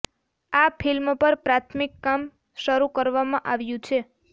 આ ફિલ્મ પર પ્રાથમિક કામ શરૂ કરવામાં આવ્યુ છે